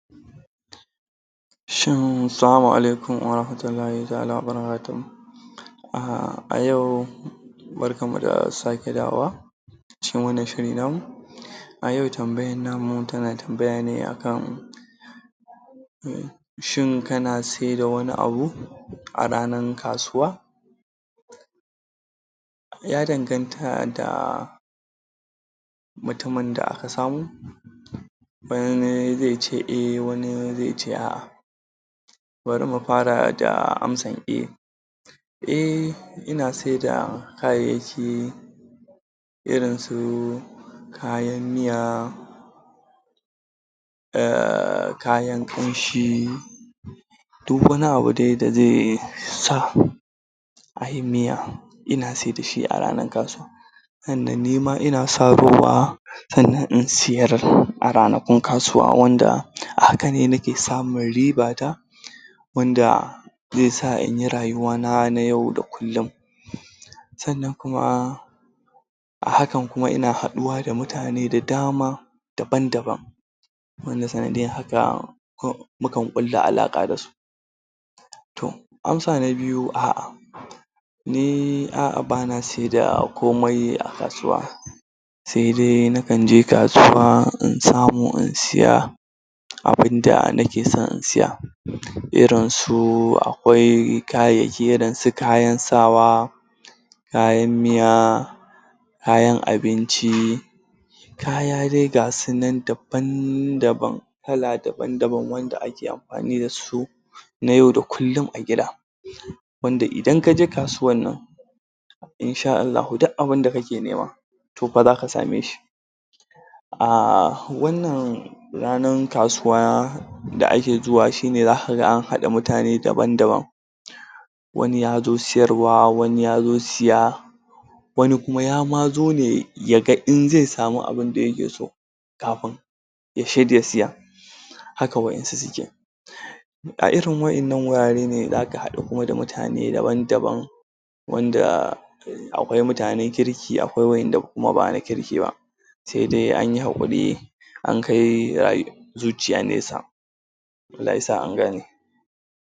shin salama alailum warahmatullahi ta'ala wa barkatuhu? a yau barkan mu da sake dawowa cikin wannan shiri namu a yau tambayan namu tana tambaya ne a kan shin kana sai da wani abu a ranar kasuwa ya danganta da mutumin da aka samu wani zai ce eh, wani zai ce a.a bari mu fara da amsa? eh ina saida kayayyaki irin su kayan miya kayan ƙunshi duk wani abu da zai sa a yi miya ina saida shi a ranar kasuwa tunda nima ina sarowa sannan in siyar a ranakun kasuwa wanda a hakane nake samun riba ta wanda zai sa in yi rayuwana na yau da kullum annan kuma a hakan kuma ina haɗuwa da mutane da dama daban daban wanda zan? ko mu kan ƙulla alaƙa da su to amsa na biyu a'a ni a'a bana saida komai a kasuwa sai dai na kanje kasuwa in samo in siya abunda nake son in siya irinsu akwai kayayyaki irin su kayan sawa kayan miya kayan abinci kaya dai gasu nan daban daban kala daban daban wanda ake amfani da su na yau da kullum a gida wanda idan kaje kasuwan nan insha Allahu duk abinda kake nema to fa zaka sameshi a wannan ranar kasuwa da ake zuwa shine za ka ga an haɗa mutane daban daban wani yazo siyarwa wani yazo siya wani kuma ya ma zo ne ya ga in zai sami abinda ya ke so kafin yace zai siya haka waɗansu suke a irin waɗannan wurare ne za ka haɗu da mutane daban daban wanda akwai mutanen kirki akwai waɗanda ba na kirki ba sai dai an yi haƙuri an kai?? zuciya nesa Allah ya sa an gane